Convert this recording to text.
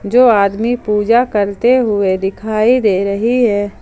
दो आदमी पूजा करते हुए दिखाई दे रही है।